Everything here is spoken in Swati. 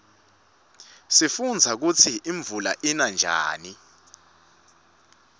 sifundza kutsi imvula ina njani